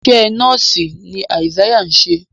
iṣé nọọsi ní Isaiah ṣe